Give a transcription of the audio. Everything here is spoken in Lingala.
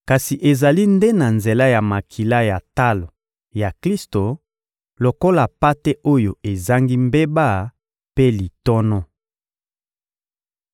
kasi ezali nde na nzela ya makila ya talo ya Klisto lokola mpate oyo ezangi mbeba mpe litono.